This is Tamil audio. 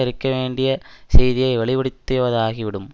இருக்கவேண்டிய செய்தியை வெளிப்படுத்திவதாகிவிடும்